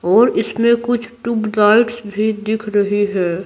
और इसमें कुछ टुबलाइट्स भी दिख रही है।